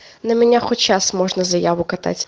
на меня хоть сейчас можно заяву катать